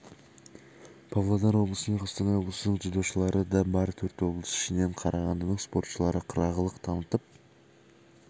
павлодар облысы мен қостанай облысының дзюдошылары да бар төрт облыс ішінен қарағандының спортшылары қырағылық танытып